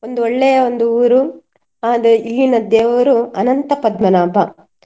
ಒಂದು ಒಳ್ಳೆಯ ಒಂದು ಊರು. ಅದೆ ಇಲ್ಲಿನ ದೇವರು ಅನಂತ ಪದ್ಮನಾಭ.